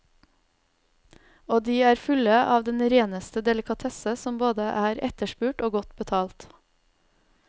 Og de er fulle av den reneste delikatesse som både er etterspurt og godt betalt.